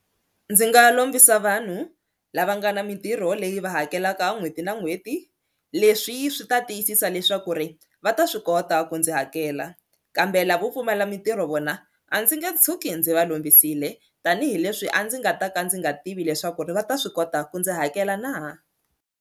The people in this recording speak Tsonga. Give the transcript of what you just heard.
Ndzi nga lombisa vanhu lava nga na mintirho leyi va hakelaka n'hweti na n'hweti leswi swi ta tiyisisa leswaku ri va ta swi kota ku ndzi hakela kambe lavo pfumala mintirho vona a ndzi nge tshuki ndzi va kombisile tanihileswi a ndzi nga ta ka ndzi nga tivi leswaku ri va ta swi kota ku ndzi hakela na.